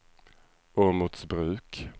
Åmotsbruk